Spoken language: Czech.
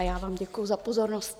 A já vám děkuji za pozornost.